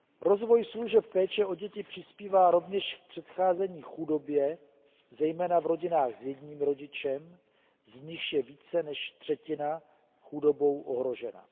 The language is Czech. Rozvoj služeb péče o děti přispívá rovněž k předcházení chudobě, zejména v rodinách s jedním rodičem, z nichž je více než třetina chudobou ohrožena.